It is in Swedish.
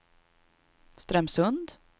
Strömsund